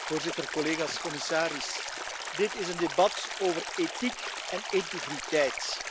Voorzitter, collega's, commissaris, dit is een debat over ethiek en integriteit.